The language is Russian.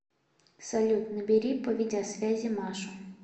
салют набери по видеосвязи машу